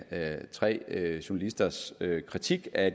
af tre journalisters kritik af